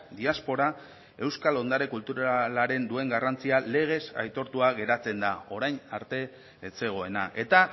diaspora euskal ondare kulturalaren duen garrantzia legez aitortua geratzen da orain arte ez zegoena eta